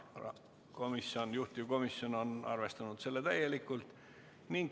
Ka kuues muudatusettepanek on rahanduskomisjonilt ja juhtivkomisjoni arvamus on, et seda tuleks arvestada täielikult.